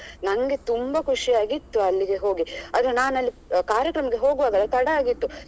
ನನ್ಗೆ ತುಂಬಾ ಖುಷಿಯಾಗಿತ್ತು ಅಲ್ಲಿಗೆ ಹೋಗಿ ಅದು ನಾನು ಅಲ್ಲಿ ಕಾರ್ಯಕ್ರಮಕ್ಕೆ ಹೋಗುವಾಗ ತಡ ಆಗಿತ್ತು.